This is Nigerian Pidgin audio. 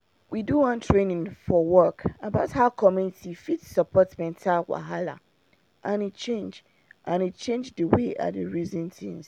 we do one training for work about how community fit support mental wahala and e change and e change the way i dey reason things